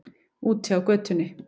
Úti á götunni.